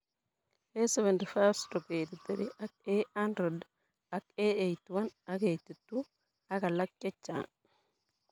A75/83 ak A100 ak A81 ak A82 ak alak chechang'